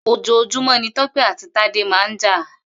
Òjòjúmọ̀ ni Tope àtí Tade mà n jà